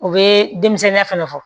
U bɛ denmisɛnnin fɛnɛ fɔ